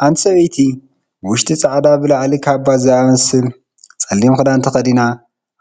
ሓንቲ ሰበይቲ ብውሽጢ ፃዕዳ ብላዕሊ ካባ ብዝመሰል ፀሊም ክዳን ተኸዲና